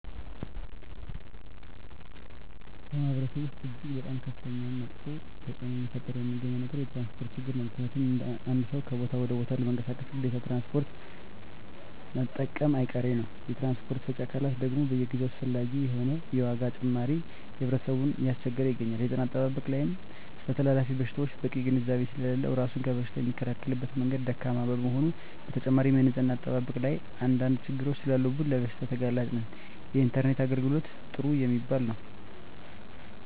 በማህበረሰቡ ወስጥ እጅግ በጣም ከፍተኛ መጥፌ ተፅዕኖ እየፈጠረ የሚገኘው ነገር የትራንስፖርት ችግር ነው ምክንያቱም አንድ ሰው ከቦታ ወደ ቦታ ለመንቀሳቀስ ግዴታ ትራንስፖርት መጠቀሙጨ አይቀሬ ነው የትራንስፖርት ሰጪ አካላት ደግም በየጊዜው አላስፈላጊ የሆነ የዋጋ ጭማሪ ህብረተሰብን እያስቸገረ ይገኛል። የጤና አጠባበቅ ላይም ስለተላላፊ በሽታወች በቂ ግንዛቤ ስሌለለው እራሱን ከበሽታ የሚከላከልበት መንገድ ደካማ በመሆኑ በተጨማሪም የንፅህና አጠባበቅ ላይም አንድ አንድ ችግሮች ሰላሉብን ለበሽታ ተጋላጭ ነን። የኢንተርኔት የአገልግሎት ጥሩ የሚባል የው።